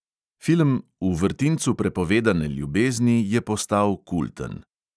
Film "v vrtincu prepovedane ljubezni" je postal kulten.